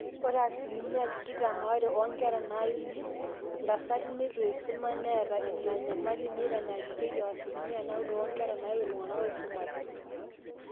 ore asilimia tikitam aare oonkera naaiu intasati neitu eisuma neeta ina nyamali teneitanyanyuki o asilimia naaudo oonkera naaiu iltung'anak ooisumate